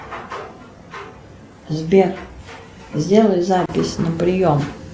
сбер сделай запись на прием